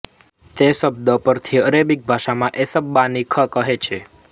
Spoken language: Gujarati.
તે શબ્દ પરથી અરેબિક ભાષામાં એસ્સબાનીખ કહે છે